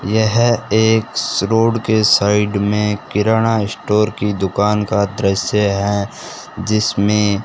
यह एक रोड के साइड में किराणा स्टोर की दुकान का दृश्य है जिसमें --